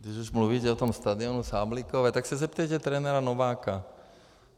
Když už mluvíte o tom stadionu Sáblíkové, tak se zeptejte trenéra Nováka.